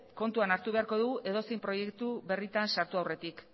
kontuan hartu beharko du edozein proiektu berritan sartu aurretik